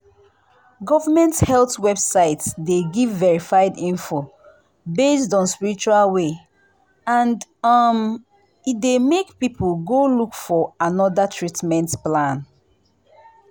government health website dey give verified info based on spiritual way and um e dey make people go look for another treatment plan.